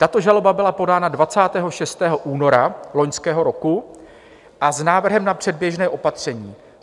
Tato žaloba byla podána 26. února loňského roku a s návrhem na předběžné opatření.